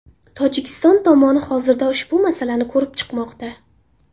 Tojikiston tomoni hozirda ushbu masalani ko‘rib chiqmoqda.